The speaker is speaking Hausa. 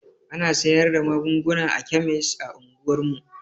Ana sayar da magunguna a kemis a unguwar mu.